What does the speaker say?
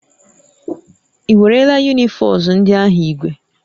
Ị werela unifos ndị ahụ ígwè?